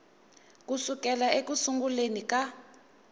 ku sukela eku sunguleni ka